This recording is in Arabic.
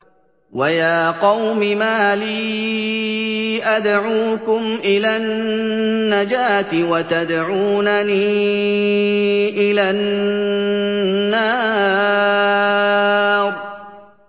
۞ وَيَا قَوْمِ مَا لِي أَدْعُوكُمْ إِلَى النَّجَاةِ وَتَدْعُونَنِي إِلَى النَّارِ